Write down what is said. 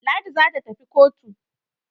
Ladi za ta tafi kotu.